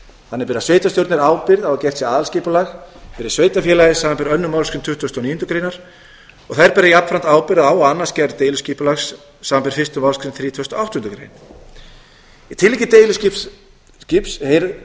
þannig bera sveitarstjórnir ábyrgð á að gert sé aðalskipulag fyrir sveitarfélagið samanber aðra málsgrein tuttugustu og níundu greinar og þær bera jafnframt ábyrgð á og annast gerð deiliskipulags samanber fyrstu málsgrein þrítugustu og áttundu greinar í tilviki deiliskipulags heyrir